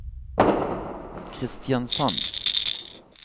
Kristiansand